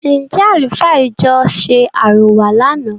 Ǹ jẹ̀ àlùfáà ìjọ ṣe àrọwà lànà?